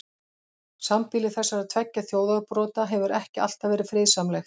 Sambýli þessara tveggja þjóðarbrota hefur ekki alltaf verið friðsamlegt.